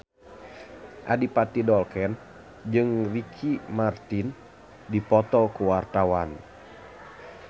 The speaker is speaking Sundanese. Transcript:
Adipati Dolken jeung Ricky Martin keur dipoto ku wartawan